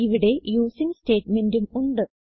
ഇവിടെ യൂസിങ് സ്റ്റേറ്റ്മെന്റും ഉണ്ട്